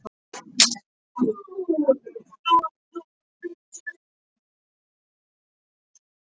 Ég varð að drífa mig.